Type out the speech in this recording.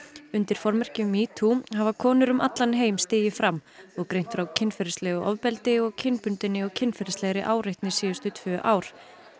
undir formerkjum metoo hafa konur um allan heim stigið fram og greint frá kynferðislegu ofbeldi og kynbundinni og kynferðislegri áreitni síðustu tvö ár